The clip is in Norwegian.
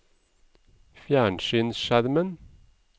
fjernsynsskjermen